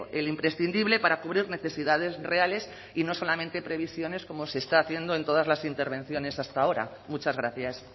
el imprescindible para cubrir necesidades reales y no solamente previsiones como se está haciendo en todas las intervenciones hasta ahora muchas gracias